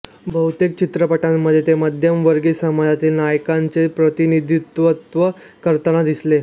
बहुतेक चित्रपटांमध्ये ते मध्यमवर्गीय समाजातील नायकांचे प्रतिनिधित्व करताना दिसले